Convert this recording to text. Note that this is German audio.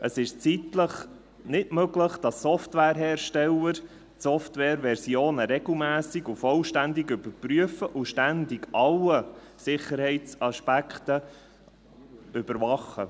Es ist zeitlich nicht möglich, dass Software-Hersteller die SoftwareVersionen regelmässig und vollständig überprüfen und ständig alle Sicherheitsaspekte überwachen.